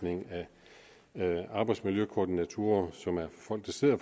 arbejdsmiljøkoordinatorer som er folk der sidder